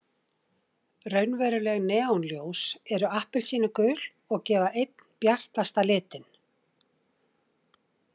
Raunveruleg neonljós eru appelsínugul og gefa einn bjartasta litinn.